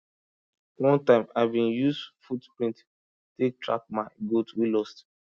one time i bin use foot print take track my goat wey lost